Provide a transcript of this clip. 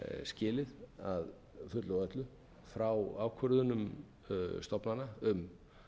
skilið að fullu og öllu frá ákvörðunum stofnana um